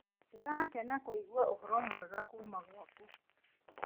Ndĩrakena kũigua ũhoro mwega kuuma gwaku.